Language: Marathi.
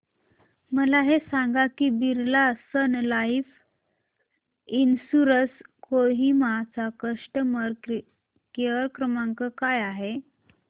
मला हे सांग की Birla sun life insurance Kohima चा कस्टमर केअर क्रमांक काय आहे